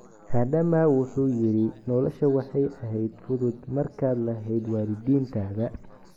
Adama wuxuu yidhi nolosha waxay ahayd fudud markaad lahayd waalidiintaada.